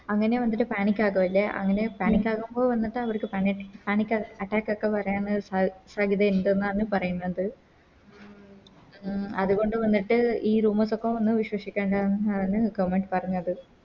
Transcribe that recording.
അങ്ങനെ വന്നിട്ട് Panic ആകും അല്ലെ അങ്ങനെ Panic ആവുമ്പൊ വന്നിട്ട് അവർക്ക് Panic panic attack ഒക്കെ വരാന് സാധ്യത ഇണ്ട്ന്നാണ് പറയുന്നത് ഉം അതുകൊണ്ട് വന്നിട്ട് ഈ Rumours ഒന്നും വിശ്വസിക്കേണ്ട ന്നാണ് Government പറഞ്ഞത്